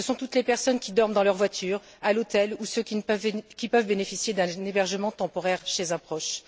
Ce sont toutes les personnes qui dorment dans leur voiture, à l'hôtel ou ceux qui peuvent bénéficier d'un hébergement temporaire chez un proche.